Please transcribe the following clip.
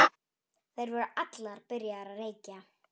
Þær voru allar byrjaðar að reykja.